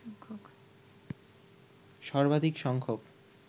সর্বাধিক সংখ্যক